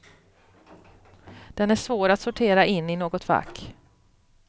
Den är svår att sortera in i något fack.